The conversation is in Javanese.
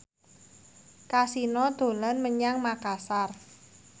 Kasino dolan menyang Makasar